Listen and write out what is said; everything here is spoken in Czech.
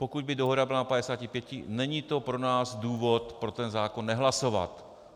Pokud by dohoda byla na 55, není to pro nás důvod pro ten zákon nehlasovat.